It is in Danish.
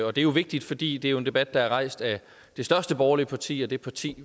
og det er jo vigtigt fordi det er en debat der er rejst af det største borgerlige parti og det parti